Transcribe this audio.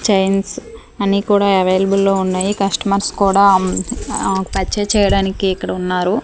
Chains అన్ని కూడా available లో ఉన్నాయి కస్టమర్స్ కూడా అమ్ ఆ పర్చేస్ చేయడానికి ఇక్కడ ఉన్నారు.